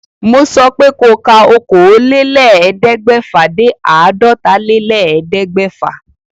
Mo sọ pé ko ka okòólélẹ́ẹ̀ẹ́dẹ́gbẹ́fà dé àádọ́tálélẹ́ẹ̀ẹ́dẹ́gbẹ́fà